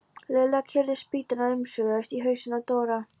Lilla keyrði spýtuna umsvifalaust í hausinn á Dóra.